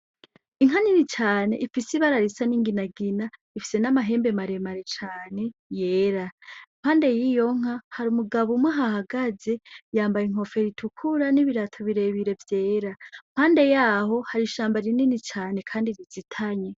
Inka nini cane ifise ibara risa nk'inginagina ifise n'amahembe maremare cane yera impande yiyo nka hari umugabo umwe ahahagaze yambaye inkofero itukura ni ibirato birebire vyera mpande yaho hari ishamba rinini cane kandi rizitanye.